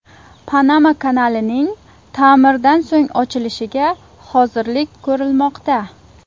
Panama kanalining ta’mirdan so‘ng ochilishiga hozirlik ko‘rilmoqda.